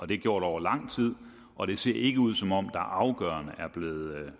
det gjort over lang tid og det ser ikke ud som om der afgørende er blevet